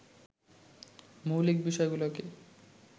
মৌলিক বিষয়গুলোকে